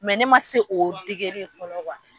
Mɛ ne ma se o degeli ye fɔlɔ